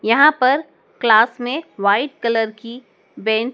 यहां पर क्लास में वाइट कलर की बेंच --